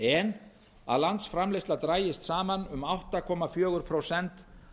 en að landsframleiðsla dragist saman um átta komma fjögur prósent